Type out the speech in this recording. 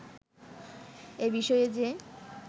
এবিষয়ে যে